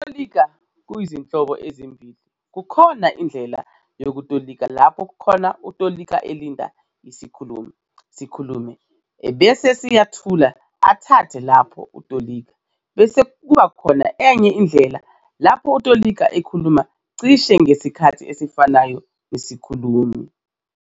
Ukutolika kuyizinhlobo ezimbili kukhona indlela yokutolika lapho khona utolika elinda isikhulumi sikhulume ebese siyathula athathe lapho utolika, bese kuba enye indlela lapho utolika ekhuluma "cishe" ngesikhathi esifanayo nesikhulumi.